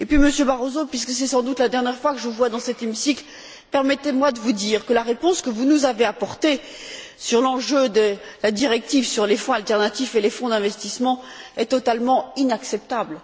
Et puis, Monsieur Barroso, puisque c'est sans doute la dernière fois que je vous vois dans cet hémicycle, permettez moi de vous dire que la réponse que vous nous avez apportée sur l'enjeu de la directive sur les fonds alternatifs et les fonds d'investissement est totalement inacceptable.